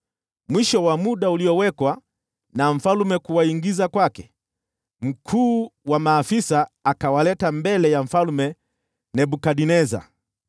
Mwisho wa muda uliowekwa na mfalme kuwaingiza kwake, mkuu wa maafisa akawaleta mbele ya Mfalme Nebukadneza.